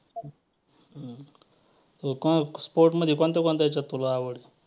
एकूणच sport मध्ये कोणत्या कोणत्या ह्याच्यात तुला आवड आहे?